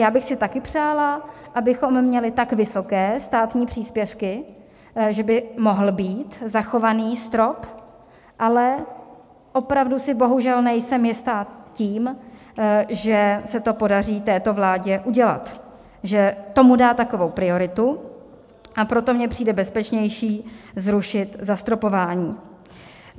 Já bych si také přála, abychom měli tak vysoké státní příspěvky, že by mohl být zachován strop, ale opravdu si bohužel nejsem jista tím, že se to podaří této vládě udělat, že tomu dá takovou prioritu, a proto mně přijde bezpečnější zrušit zastropování.